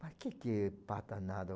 Mas o que que é Pata Nada?